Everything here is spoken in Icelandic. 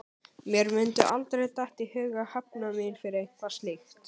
Mér mundi aldrei detta í hug að hefna mín fyrir eitthvað slíkt.